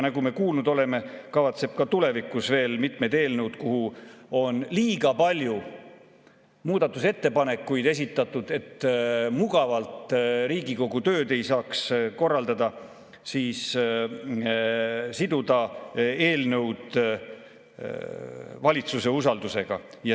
Nagu me kuulnud oleme, kavatseb ta ka tulevikus veel mitmed eelnõud, mille kohta on liiga palju muudatusettepanekuid esitatud, nii et ei saaks mugavalt Riigikogu tööd korraldada, siduda valitsuse usaldus.